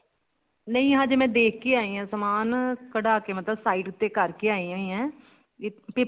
ਨਹੀਂ ਹਜੇ ਮੈਂ ਦੇਖ ਕੇ ਆਈ ਹਾਂ ਸਮਾਨ ਕੱਡਾ ਕੇ ਮਤਲਬ side ਉੱਤੇ ਕਰਕੇ ਆਈ ਹੋਈ ਹਾਂ